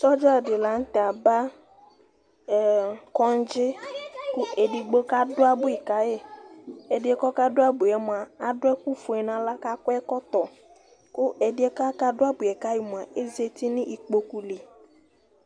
Sɔdza di la nu tɛ aba ɛ, kɔŋdzi, ku edigbo kadu abʋi ka yi, ɛdiɛ kple du abʋiɛ mʋa adu ɛku fue nu aɣla, ku akɔ ɛkɔtɔ, ku ɛdiɛ ku aka du abʋiɛ hafi mʋa ezati nu ikpoku li,